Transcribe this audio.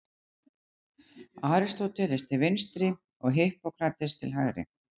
Aristóteles til vinstri og Hippókrates til hægri.